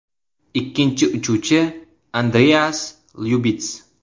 Ikkinchi uchuvchi Andreas Lyubits.